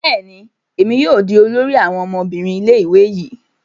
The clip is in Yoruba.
Bẹẹni, èmi yóò di olórí àwọn ọmọbìnrin ilé-ìwé yii